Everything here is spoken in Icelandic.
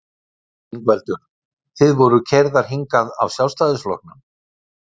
Ingveldur: Þið voruð keyrðar hingað af Sjálfstæðisflokknum?